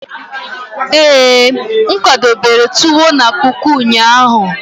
ee, m kwadobere tuwo na kuku ụnyaahụ?